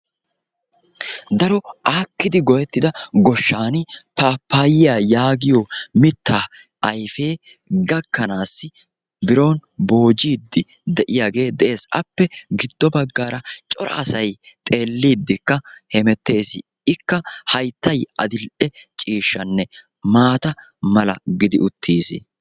Daro aakkidi goyetttida goshshan paappayiya yaagiyo mittaa ayfee gakkanaassi biron boojiiddi de'iyagee de'ees. Appe giddo baggaara cora asay xelliiddikka hemettees. Ikka hayttay adil''e ciishshanne maata mala gidi uttiis.